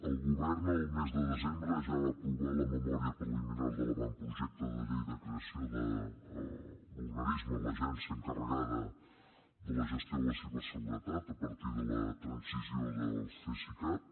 el govern el mes de desembre ja va aprovar la memòria preliminar de l’avantprojecte de llei de creació de l’organisme l’agència encarregada de la gestió de la ciberseguretat a partir de la transició del cesicat